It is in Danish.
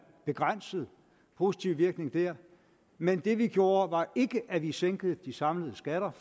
begrænset positiv virkning der men det vi gjorde var ikke at vi sænkede de samlede skatter